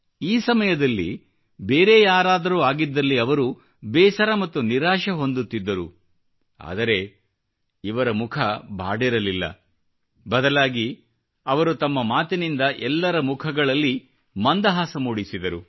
ಈ ಸಮಯದಲ್ಲಿ ಬೇರೆ ಯಾರಾದರೂ ಆಗಿದ್ದಲ್ಲಿ ಅವರು ಬೇಸರ ಮತ್ತು ನಿರಾಶೆ ಹೊಂದುತ್ತಿದ್ದರು ಆದರೆ ಅವರ ಮುಖ ಬಾಡಿರಲಿಲ್ಲ ಬದಲಾಗಿ ಅವರು ತಮ್ಮ ಮಾತಿನಿಂದ ಎಲ್ಲರ ಮುಖಗಳಲ್ಲಿ ಮಂದಹಾಸ ಮೂಡಿಸಿದರು